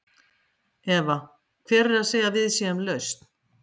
Eva: Hver er að segja að við séum lausn?